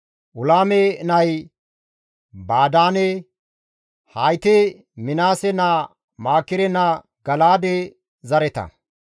Ulaame nay Badaane; hayti Minaase naa Maakire naa Gala7aade zareta.